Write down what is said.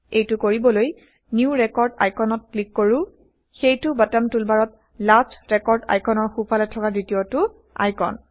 এইটো কৰিবলৈ new record আইকণত160 ক্লিক কৰো সেইটো বটম টুলবাৰত লাষ্ট ৰেকৰ্ড আইকনৰ সোঁফালে থকা দ্বিতীয়টো আইকন